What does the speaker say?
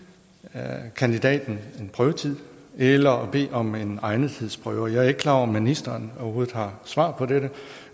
at give kandidaten en prøvetid eller at bede om en egnethedsprøve jeg er ikke klar over om ministeren overhovedet har svar på dette